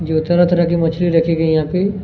जो तरह तरह की मछली रखी गई है यहाँ पे--